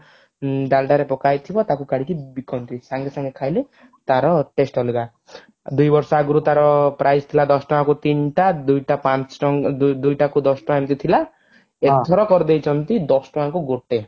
ଡାଲଡା ରେ ପକାହେଇଥିବ ତାକୁ କାଢିକି ବିକନ୍ତି ସାଙ୍ଗେ ସାଙ୍ଗେ ଖାଇଲେ ତାର taste ଅଲଗା ଦୁଇ ବର୍ଷ ଆଗରୁ ତାର price ଥିଲା ଦଶ ଟଙ୍କାକୁ ତିନଟା ଦୁଇଟା ପାଞ୍ଚ ଟଙ୍କା ଦୁଇଟାକୁ ଦଶ ଟଙ୍କା ଏମିତି ଥିଲା ଏଇଥର କରିଦେଇଛନ୍ତି ଦଶ ଟଙ୍କାକୁ ଗୋଟେ